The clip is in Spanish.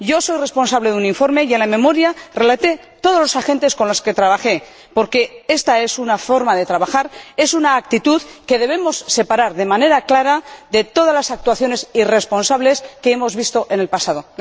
Yo he sido responsable de un informe y en la exposición de motivos relaté todos los agentes con los que trabajé, porque esta es una forma de trabajar, es una actitud que debemos separar de manera clara de todas las actuaciones irresponsables que hemos visto en el pasado.